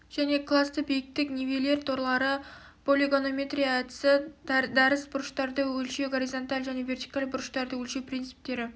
және классты биіктік нивелир торлары полигонометрия әдісі дәріс бұрыштарды өлшеу горизонталь және вертикаль бұрыштарды өлшеу принциптері